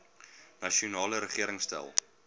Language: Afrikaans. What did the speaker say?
nasionale regering stel